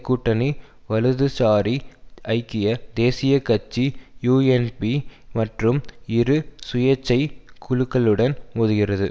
கூட்டணி வலதுசாரி ஐக்கிய தேசிய கட்சி யூஎன்பி மற்றும் இரு சுயேட்சைக் குழுக்களுடன் மோதுகிறது